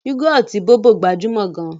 Yúgọ̀ọ̀tì Bóbò gbajúmọ̀ gan-an